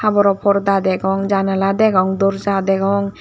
porda degong janala degong doorja degong.